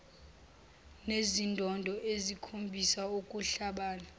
nezindondo ezikhombisa ukuhlabana